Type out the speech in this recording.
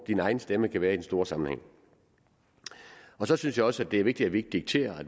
din egen stemme kan være i den store sammenhæng så synes jeg også at det er vigtigt at vi ikke dikterer